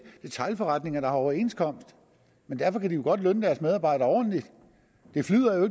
detailforretninger der har overenskomster men derfor kan de jo godt lønne deres medarbejdere ordentligt det flyder